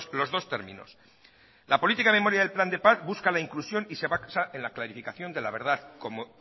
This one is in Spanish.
los dos términos la política memoria del plan de paz busca la inclusión y se basa en la clasificación de la verdad como